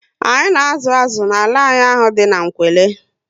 Anyị na azụ azụ n'ala anyị ahụ dị n'Nkwelle